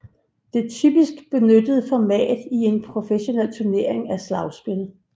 Det typisk benyttede format i en professionel turnering er slagspil